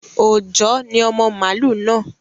Òòjọ́ ni ọmọ màlú náà